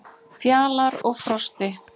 Fjalar og Frosti,